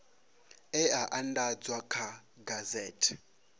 e a andadzwa kha gazethe